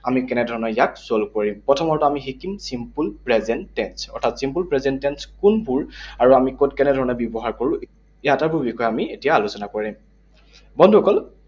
আমি কেনে ধৰণেৰে ইয়াক solve কৰিম। প্ৰথমৰটো আমি শিকিম simple present tense, অৰ্থাৎ simple present tense কোনবোৰ আৰু আমি কত কেনে ধৰণেৰে ব্যৱহাৰ কৰোঁ এই আটাইবোৰ বিষয়ে আমি এতিয়া আলোচনা কৰিম। বন্ধুসকল